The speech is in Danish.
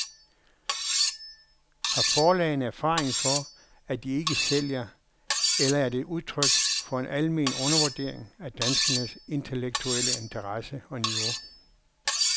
Har forlagene erfaring for, at de ikke sælger, eller er det udtryk for en almen undervurdering af danskernes intellektuelle interesse og niveau?